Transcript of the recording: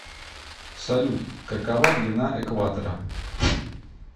салют какова длина экватора